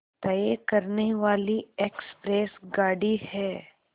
तय करने वाली एक्सप्रेस गाड़ी है